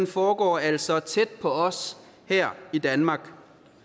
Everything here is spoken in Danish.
foregår altså tæt på os her i danmark